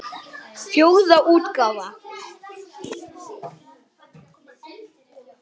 Fjórða útgáfa.